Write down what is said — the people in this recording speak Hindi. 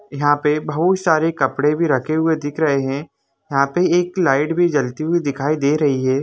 यहाँ पे बहुत सारे कपड़े भी रखे हुए दिख रहे है यहाँ पे एक लाइट भी जलती हुई दिखाई दे रही है।